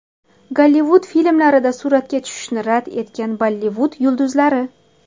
Gollivud filmlarida suratga tushishni rad etgan Bollivud yulduzlari.